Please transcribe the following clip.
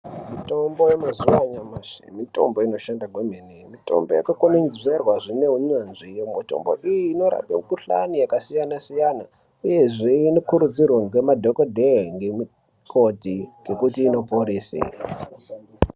Mutombo yemazuwa anyamashi mutombo inoshanda kwemene mutombo yakakwenenzverwa zvine unyanzvi mitombo iyi inorape mukhuhlani yakasiyana siyana uyezve inokurudzirwe ngemadhokodhee ngemukoti ngekuti inoporese.